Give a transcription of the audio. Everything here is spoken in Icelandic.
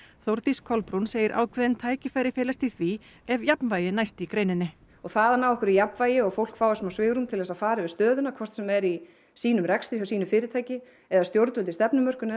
Þórdís Kolbrún segir ákveðin tækifæri felast í því ef jafnvægi næst í greininni og það að ná jafnvægi og að fólk fái smá svigrúm til þess að fara yfir stöðuna hvort sem er í sínum rekstri hjá sínu fyrirtæki eða stjórnvöld í stefnumörkun